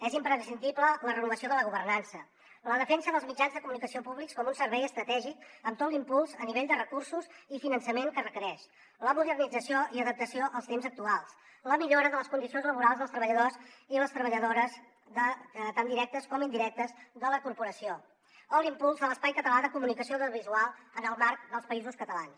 és imprescindible la renovació de la governança la defensa dels mitjans de comunicació públics com un servei estratègic amb tot l’impuls a nivell de recursos i finançament que requereix la modernització i l’adaptació als temps actuals la millora de les condicions laborals dels treballadors i les treballadores tant directes com indirectes de la corporació o l’impuls de l’espai català de comunicació audiovisual en el marc dels països catalans